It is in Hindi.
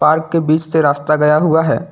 पार्क के बीच से रास्ता गया हुआ है।